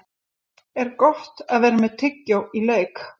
Er Gott að vera með tyggjó í leik?